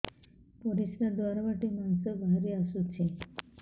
ପରିଶ୍ରା ଦ୍ୱାର ବାଟେ ମାଂସ ବାହାରି ଆସୁଛି